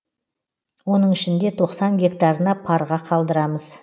оның ішінде тоқсан гектарына парға қалдырамыз